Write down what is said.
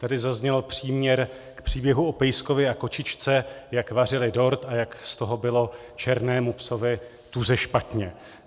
Tady zazněl příměr k příběhu o pejskovi a kočičce, jak vařili dort a jak z toho bylo černému psovi tuze špatně.